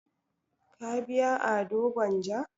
Ka biya ado gwanja?